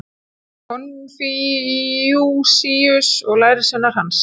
konfúsíus og lærisveinar hans